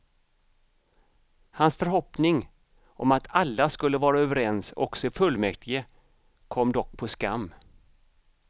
Hans förhoppning om att alla skulle vara överens också i fullmäktige kom dock på skam.